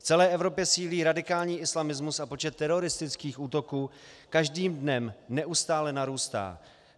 V celé Evropě sílí radikální islamismus a počet teroristických útoků každý dnem neustále narůstá.